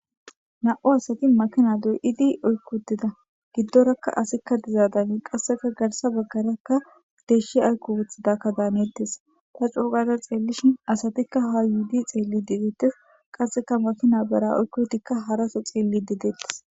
Na'u asati makina do'di oykkodeda giddorakka asikka dizaadanii qasseka garsa baggarakka deshshi aykko wothidakka daaneettes ta cuogada xeellishin asatikka ha yuudi xeelli dedeettes qasseka makina bera oykkotikka haraso xeelli dedeettes.